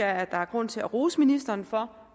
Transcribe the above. er grund til at rose ministeren for